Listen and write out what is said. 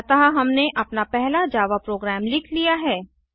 अतः हमने अपना पहला जावा प्रोग्राम लिख लिया है